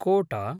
कोट